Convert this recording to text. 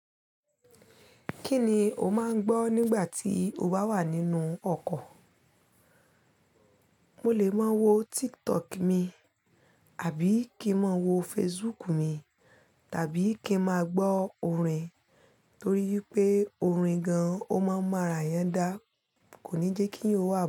Kí ni o máa ń gbọ́ nígbà tí o bá wà nínú ọkọ̀? Mo lè máa wo TikTok mi, àbí kí ń máa wo Facebook mi, tàbí kí ń máa gbọ́ orin torí pé orin gan-an ó máa ń mọ ara èèyàn dá, kò ní jẹ́ kí eyan wà.